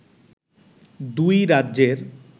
দুই রাজ্যের